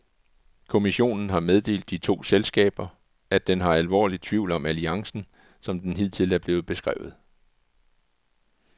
Kommissionen har meddelt de to selskaber, at den har alvorlige tvivl om alliancen, som den hidtil er blevet beskrevet.